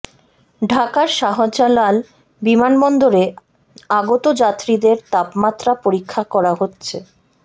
ঢাকার শাহজালাল বিমানবন্দরে আগত যাত্রীদের তাপমাত্রা পরীক্ষা করা হচ্ছে